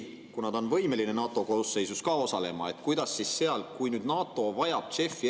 Kuna ta on võimeline NATO koosseisus ka osalema, kuidas siis seal, kui nüüd NATO vajab JEF‑i …